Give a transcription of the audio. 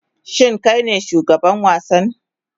Shin kai ne shugaban wasan?